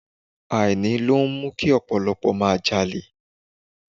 Àìní ló ń mú kí ọ̀pọ̀lọpọ̀ máa jalè.